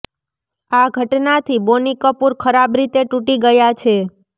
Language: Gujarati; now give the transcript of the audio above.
આ ઘટનાથી બોની કપૂર ખરાબ રીતે તૂટી ગયા છે